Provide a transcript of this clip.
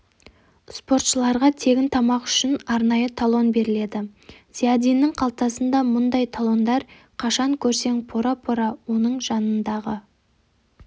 спортшыларға тегін тамақ үшін арнайы талон беріледі зиядиннің қалтасында мұндай талондар қашан көрсең пора-пора оны жанындағы